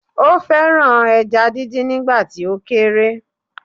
Ó fẹ́ràn ẹja díndín nígbà tó kéré